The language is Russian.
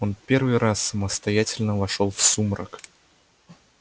он первый раз самостоятельно вошёл в сумрак